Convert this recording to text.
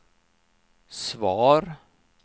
svar